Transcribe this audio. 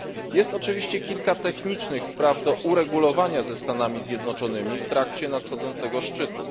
Jest oczywiście kilka technicznych spraw do uregulowania ze Stanami Zjednoczonymi w trakcie nadchodzącego szczytu.